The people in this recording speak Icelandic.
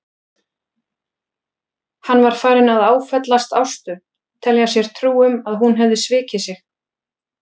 Hann var farinn að áfellast Ástu, telja sér trú um að hún hefði svikið sig.